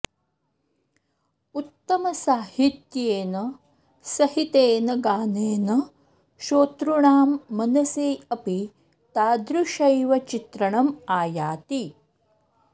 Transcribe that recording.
उत्तमसाहित्येन सहितेन गानेन शोतृणां मनसि अपि तादृशैव चित्रणम् आयाति